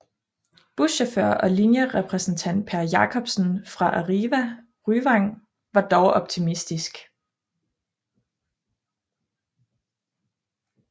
Buschauffør og linjerepræsentant Per Jacobsen fra Arriva Ryvang var dog optimistisk